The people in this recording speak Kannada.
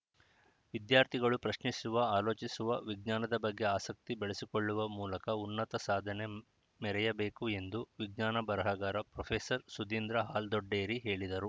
ವಿದ್ಯಾರ್ಥಿಗಳು ಪ್ರಶ್ನಿಸುವ ಆಲೋಚಿಸುವ ವಿಜ್ಞಾನದ ಬಗ್ಗೆ ಆಸಕ್ತಿ ಬೆಳೆಸಿಕೊಳ್ಳುವ ಮೂಲಕ ಉನ್ನತ ಸಾಧನೆ ಮೆರೆಯಬೇಕು ಎಂದು ವಿಜ್ಞಾನ ಬರಹಗಾರ ಪ್ರೊಫೆಸರ್ ಸುಧೀಂದ್ರ ಹಾಲ್ದೊಡ್ಡೇರಿ ಹೇಳಿದರು